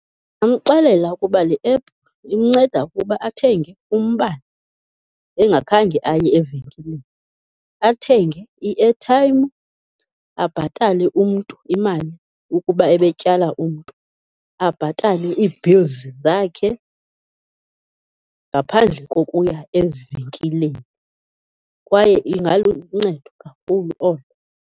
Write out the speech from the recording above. Ndingamxelela ukuba le app imnceda ukuba athenge umbane engakhange aye evenkileni. Athenge i-airtime, abhatale umntu imali ukuba ebetyala umntu, abhatale ii-bills zakhe ngaphandle kokuya ezivenkileni, kwaye ingaluncedo kakhulu olo.